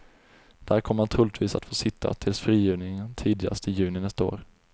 Där kommer han troligtvis att få sitta tills frigivningen tidigast i juni nästa år.